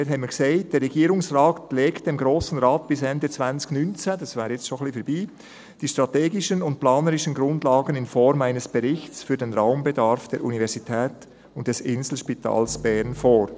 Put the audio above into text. Wir sagten dort: «Der Regierungsrat legt dem Grossen Rat bis Ende 2019 die strategischen und planerischen Grundlagen in Form eines Berichts für den Raumbedarf der Universität und des Inselspitals Bern vor;